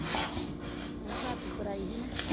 ਉਹ ਛੱਤ ਉੱਪਰ ਆਈ ਸੀ ਨਾ।